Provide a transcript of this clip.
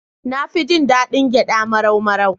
Na fi jin daɗin gyaɗa marau-marau.